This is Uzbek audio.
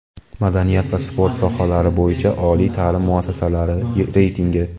madaniyat va sport sohalari bo‘yicha oliy taʼlim muassasalari reytingi.